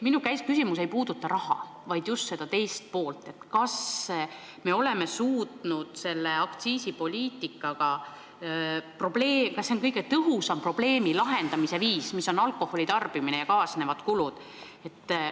Minu küsimus ei puuduta raha, vaid just seda teist poolt: kas aktsiisipoliitika on kõige tõhusam viis lahendada probleemi, milleks on alkoholitarbimine ja sellega kaasnevad kulud?